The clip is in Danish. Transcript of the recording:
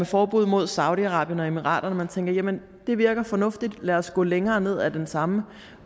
forbud mod saudi arabien og emirater og man tænker jamen det virker fornuftigt lad os gå længere ned ad den samme